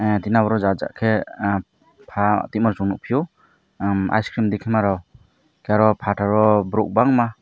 antina oro ja ja ke pa tima chung nug fio icecream diki ma rok tai oro fataro borok bangma.